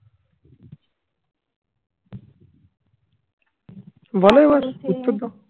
বলো এবার উত্তর দাও